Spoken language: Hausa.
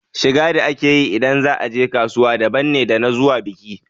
Shiga da ake yi ida za a je kasuwa daban ne da na zuwa biki.